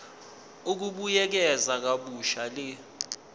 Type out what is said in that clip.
ukubuyekeza kabusha le